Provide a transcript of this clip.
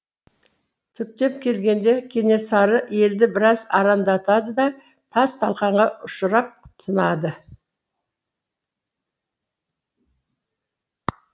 түптеп келгенде кенесары елді біраз арандатады да тас талқанға ұшырап тынады